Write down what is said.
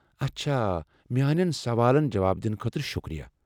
اچھا۔ میٛانٮ۪ن سوالو جواب دنہٕ خٲطرٕ شکریہ۔